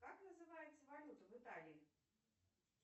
как называется валюта в италии